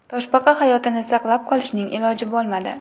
Toshbaqa hayotini saqlab qolishning iloji bo‘lmadi.